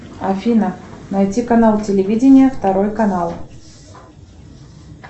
афина найти канал телевидения второй канал